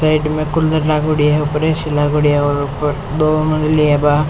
Side मे cooler लागोड़ी है ऊपर ऐ सी लागोड़ी है और ऊपर दो मंज़िले है वा।